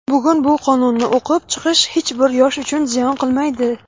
bugun bu qonunni o‘qib chiqish hech bir yosh uchun ziyon qilmaydi.